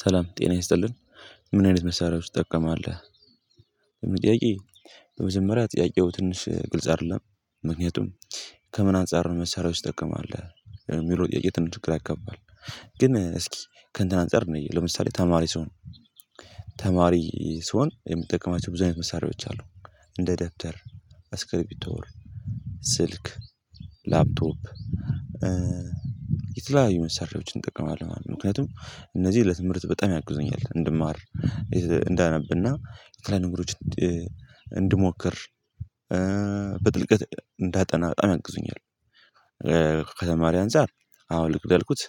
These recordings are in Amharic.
ሰላም ጤና ይስጥልን ምን አይነት መሳሪያዎች ትጠቀማለህ? ይህ ጥያቄ በመጀመሪያ ጥያቄው ትንሽ ግልጽ አይደለም። ምክንያቱም ከምን አንፃር ነው መሳሪያወች ትጠቀማለህ የሚለው ጥያቄ ትንሽ ግራ ያጋባል። ግን እስኪ ከእንትን አንፃር እንይ ለምሳሌ ተማሪ ስሆን ተማሪ ስሆን የምጠቀማቸው ብዙ አይነት መሳሪያዎች አሉ እንደ ደብደር አስክሪፕቶ ስልክ ላፕቶፕ የተለያዩ መሳሪያወችን እጠቀማለሁማለት ነው ምክንያቱም እነዚህ ለትምህርት በጣም ያጉዘኛል እንድማር እንዳነብና የተለያዩ ነገሮችን እንድሞክር በጥልቀት እንዳጠና በጣም ያግዙኛል። ከተማሪ አንፃር አዎ ልክ እንዳልኩት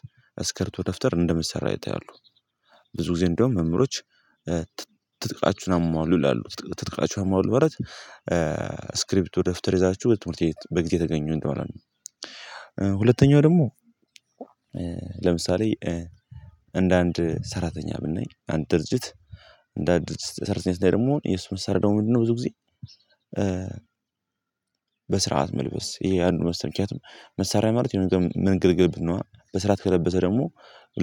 አስከርቶ ደብተር እንደ መሳሪያ ይታያሉ ብዙ ጊዜ እንደውም መምህሮች ትጥቃቹህን አሟሉ ይላሉ ትጥቃቹህን አሟሉ ማለት ስክሪፕቶ ደብተር ይዛችሁ ትምህርት ቤት በጊዜ ተገኙ እንደማለት ነው። ሁለተኛው ደግሞ ለምሳሌ እንደ አንድ ሰራተኛ ብናይ አንድ ድርጅት እንደ አዲስ ሰራተኛ ስናይ ደግሞ የሱ ስራ ምንድነው? ብዙ ጊዜ በስርዓት መልበስ ይሄ አንዱ መሰል ምክንያት ነው። መሳራያ ማለት የምንገለገልበት ነዋ በስርዓት ከለበሰ ደግሞ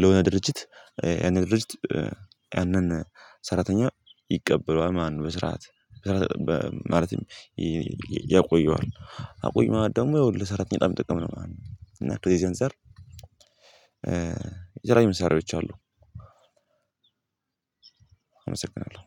ለሆነ ድርጅት ያንን ድርጅት ያንን ሰራተኛ ይቀበለዋል ማለት ነው። በስርዓት ማለትም ያቆየዋል አቆየው ማለት ደግሞ ያው ለሰራተኛ በጣም ጥቅም ነው ማለት ነው። እና እንደዚህ አንፃር የተለያዩ መሳሪያወች አሉ። አመሰግናለሁ